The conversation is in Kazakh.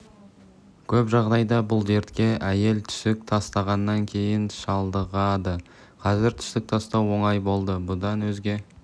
көп жағдайда бұл дертке әйел түсік тастағаннан кейін шалдығады қазір түсік тастау оңай болды бұдан өзге